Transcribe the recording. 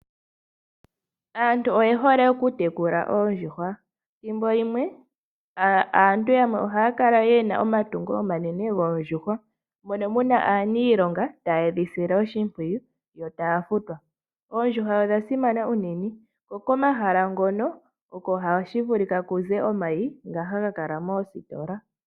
Aantu oyehole okutekula oondjuhwa, ethimbo limwe aantu yamwe ohaya kala yena omatungo omanene goondjuhwa moka muna aanilonga taye dhi sile oshimpwiyu yo taya futwa. Oondjuhwa odhasimana unene, ko komahala ngoka oko hashi vulika kuze omayi ngoka haga kala moositola.